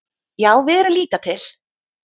Já við erum líka til!